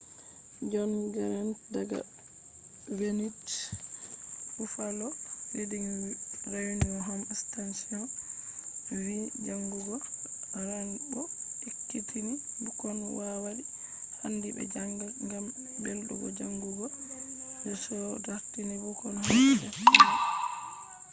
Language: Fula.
john grant daga wned buffalo reading rainbow’s home station vi jangugo rainbow ekkitini bukkon kowadi handi be janga.....gam beldum jangugo - [the show] dartini bukkon hosa defte mabbe be janga